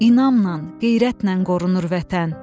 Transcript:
İnamla, qeyrətlə qorunur vətən.